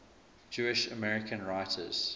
jewish american writers